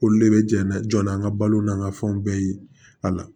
Olu de bɛ jɛn na jɔn na an ka balo n'an ka fɛnw bɛɛ ye a la